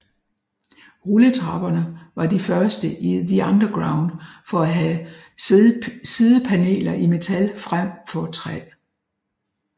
Rulletrapperne var de første i The Underground til at have sidepaneler i metal frem for træ